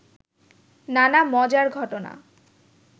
নানা মজার ঘটনা